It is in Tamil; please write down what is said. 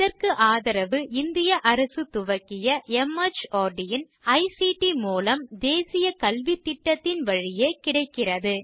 இதற்கு ஆதரவு இந்திய அரசு துவக்கிய மார்ட் இன் ஐசிடி மூலம் தேசிய கல்வித்திட்டத்தின் வழியே கிடைக்கிறது